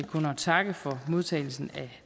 takke for modtagelsen af